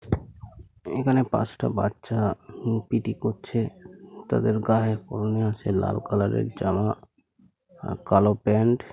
এখানে পাঁচটা বাচ্চা হু পি.টি. করছে । তাদের গায়ে পড়ানো আছে লাল কালার - এর জামা আ কালো প্যান্ট --